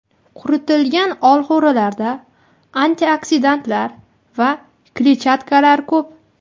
Quritilgan olxo‘rilarda antioksidantlar va kletchatkalar ko‘p.